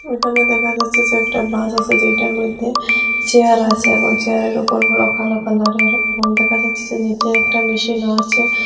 এখানে দেখা যাচ্ছে যে একটা বাস আসে যেইটার মইদ্যে চেয়ার আসে এবং চেয়ারে র ওপর বড় কালো কালারে র এবং দেখা যাচ্ছে যে নীচে একটা মেশিন ও আছে।